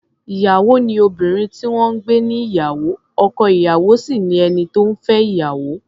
Ìyàwó ni obìnrin tí wọ́n ń gbé níyàwó, ọkọ-ìyàwó sì ni ẹni tó ń fẹ́ ìyàwó.